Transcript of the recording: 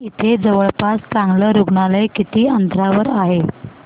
इथे जवळपास चांगलं रुग्णालय किती अंतरावर आहे